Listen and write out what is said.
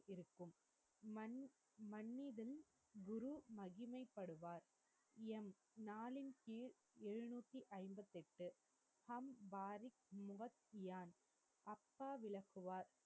இருக்கும் மன் மன்னிதன் மகிமைபடுவார் யம் நாளின் கீழ் எழுநூத்தி ஐம்பத்தி எட்டு ஹம் பாரிக் முஹத்தியான் அப்பா விளக்குவார்